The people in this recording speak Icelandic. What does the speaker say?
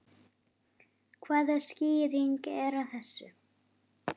Hvaða skýring er á þessu?